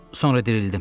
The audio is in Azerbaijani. Sonra dirildim.